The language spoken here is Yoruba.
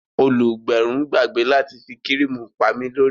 Olùgbẹrun gbàgbé láti fi kíríìmù pami lórí